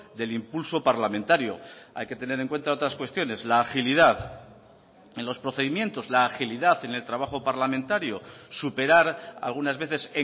del impulso parlamentario hay que tener en cuenta otras cuestiones la agilidad en los procedimientos la agilidad en el trabajo parlamentario superar algunas veces